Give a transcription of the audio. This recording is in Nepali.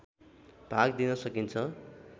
भाग दिन सकिन्छ